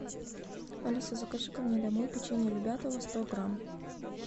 алиса закажи ка мне домой печенье любятово сто грамм